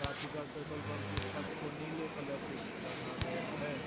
Petrol pump की छत को नीले कलर से रंगा गया है।